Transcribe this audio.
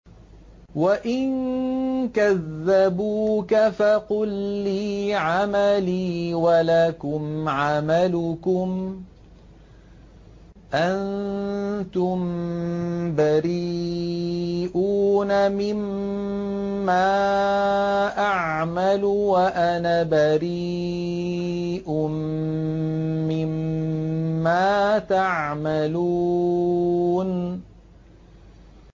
وَإِن كَذَّبُوكَ فَقُل لِّي عَمَلِي وَلَكُمْ عَمَلُكُمْ ۖ أَنتُم بَرِيئُونَ مِمَّا أَعْمَلُ وَأَنَا بَرِيءٌ مِّمَّا تَعْمَلُونَ